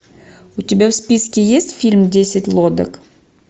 у тебя в списке есть фильм десять лодок